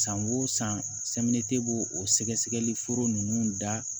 San o san b'o o sɛgɛsɛgɛli foro nunnu da